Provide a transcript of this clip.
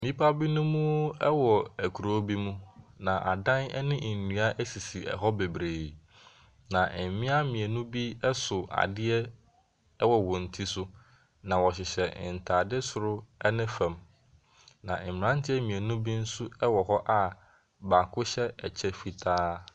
Nnipa binom wɔ kuro bi mu. Na adan ne nnua sisi hɔ bebree. Na mmea mmienu bi so adeɛ wɔ wɔn ti so. Na wɔhyehyɛ ntade soro ne fam. Na mmeranteɛ mmienu bi nso wɔ hɔ a baako hyɛ ɛkɛy fitaa.